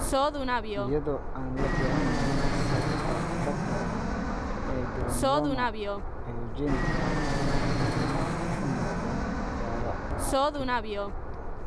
Iyadoo aan la garanayn sababta dhabta ah ee granuloma pyogenic, waxay badanaa u muuqdaan dhaawaca ka dib.